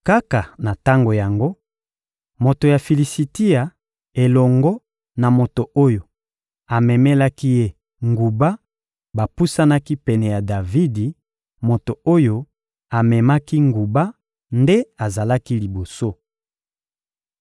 Kaka na tango yango, moto ya Filisitia elongo na moto oyo amemelaki ye nguba bapusanaki pene ya Davidi; moto oyo amemaki nguba nde azalaki liboso.